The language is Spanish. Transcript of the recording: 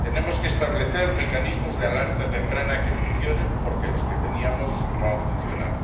tenemos que establecer mecanismos de alerta temprana que funcionen, porque los que teníamos no han funcionado